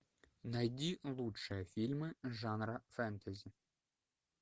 найди лучшие фильмы жанра фэнтези